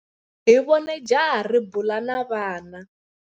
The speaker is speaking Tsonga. Hi vone jaha ri bula na vana.